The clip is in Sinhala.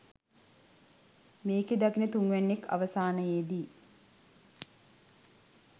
මේක දකින තුන්වැන්නෙක් අවසානයේදි